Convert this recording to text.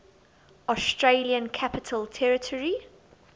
australian capital territory